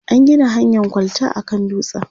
an Gina hanyan kwalta a kan dutsen